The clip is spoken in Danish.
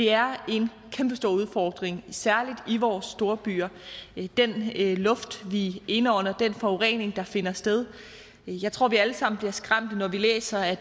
er en kæmpestor udfordring særlig i vores storbyer den luft vi indånder den forurening der finder sted jeg tror at vi alle sammen bliver skræmte når vi læser at